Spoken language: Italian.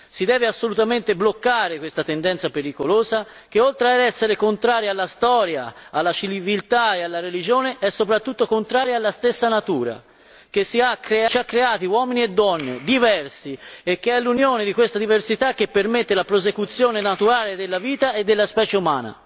Si deve assolutamente bloccare questa tendenza pericolosa, che oltre ad essere contraria alla storia, alla civiltà e alla religione è soprattutto contraria alla stessa natura che ci ha creati uomini e donne, diversi ed è l'unione di questa diversità che permette la prosecuzione naturale della vita e della specie umana.